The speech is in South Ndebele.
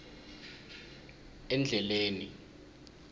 endleleni